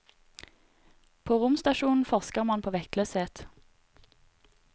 På romstasjonen forsker man på vektløshet.